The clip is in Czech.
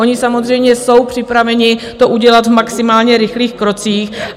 Oni samozřejmě jsou připraveni to udělat v maximálně rychlých krocích.